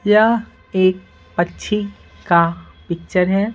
यह एक पच्छी का पिक्चर है।